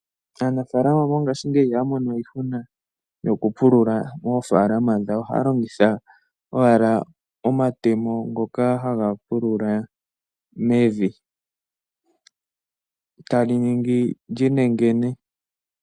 Aanafaalama mongashingeyi ihaya mono we iihuna yokupulula moofaalama dhawo. Ohaya longitha owala omatemo ngoka haga pulula mevi e tali ningi li nengene.